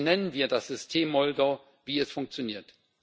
Benennen wir das System Moldau, wie es funktioniert.